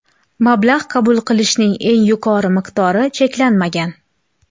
Mablag‘ qabul qilishning eng yuqori miqdori cheklanmagan.